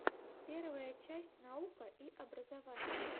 первая часть наука и образование